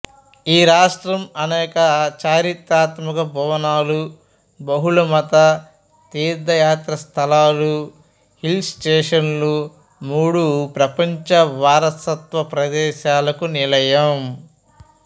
ఈ రాష్ట్రం అనేక చారిత్రాత్మక భవనాలు బహుళమత తీర్థయాత్రాస్థలాలు హిల్ స్టేషన్లు మూడు ప్రపంచ వారసత్వ ప్రదేశాలకు నిలయం